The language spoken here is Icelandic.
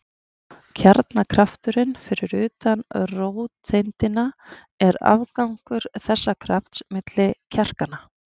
Kjarnakrafturinn fyrir utan róteindina er afgangur þessa krafts milli kvarkanna.